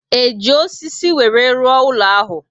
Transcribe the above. E ji osisi were rụọ ụlọ ahụ?